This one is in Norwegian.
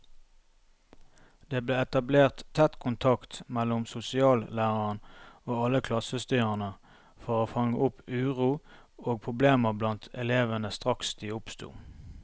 Det ble etablert tett kontakt mellom sosiallæreren og alle klassestyrerne for å fange opp uro og problemer blant elevene straks de oppsto.